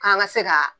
K'an ka se ka